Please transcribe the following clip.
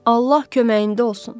Allah köməyində olsun.